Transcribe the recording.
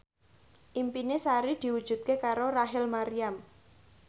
impine Sari diwujudke karo Rachel Maryam